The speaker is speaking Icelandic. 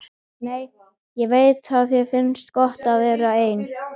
Nei, ég veit að þér finnst gott að vera ein.